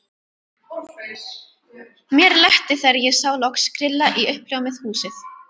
Mér létti þegar ég sá loks grilla í uppljómað húsið.